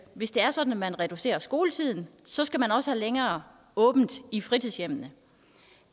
hvis det er sådan at man reducerer skoletiden så skal man også have længere åbent i fritidshjemmene